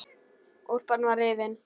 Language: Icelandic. Úlpan var rifin.